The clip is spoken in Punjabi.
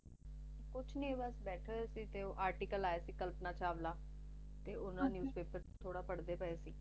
ਕੁੱਛ ਨਹੀ ਬਸ ਬੈਠੇ ਹੋਏ ਸੀ ਤੇ ਉਹ article ਆਇਆ ਸੀ ਕਲਪਨਾ ਚਾਵਲਾ ਤੇ ਓਹ ਨਾ newspaper ਚ ਥੋੜਾ ਪੜ੍ਹਦੇ ਪਏ ਸੀ